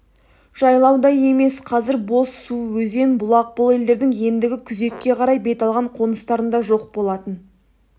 жайлаудай емес қазір бос су өзен бұлақ бұл елдердің ендігі күзекке қарай бет алған қоныстарында жоқ болатын